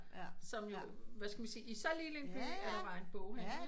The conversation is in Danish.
Som jo hvad skal man sige i så lille en by at der var en boghandel